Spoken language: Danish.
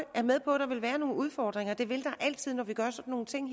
og er med på at der vil være nogle udfordringer det vil der altid være når vi gør sådan nogle ting